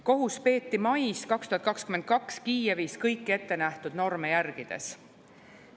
Kohus peeti mais 2022 Kiievis kõiki ettenähtud norme järgides.